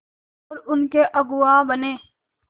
और उनके अगुआ बने